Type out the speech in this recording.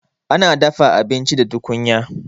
Ana dafa abinci a tukunya.